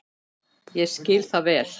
Ég skil það vel.